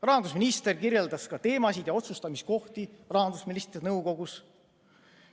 Rahandusminister kirjeldas teemasid ja otsustamiskohti rahandusministrite nõukogus.